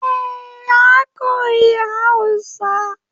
Eh ya koyi Hausa